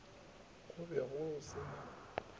go be go se na